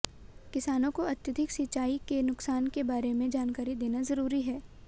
किसानों को अत्यधिक सिंचाई के नुकसान के बारे में जानकारी देना जरूरी है